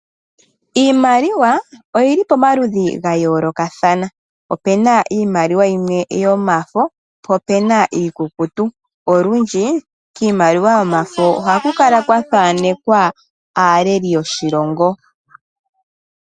Iimaliwa oyi li pomaludhi ga yoolokathana. Opena iimaliwa yimwe yomafo, po opena iikukutu. Olundji kiimaliwa yomafo oha ku kala kwa thaanekwa aaleli yoshilongo.